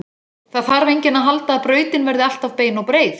Það þarf enginn að halda að brautin verði alltaf bein og breið.